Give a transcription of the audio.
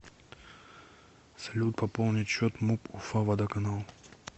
салют пополнить счет муп уфа водоканал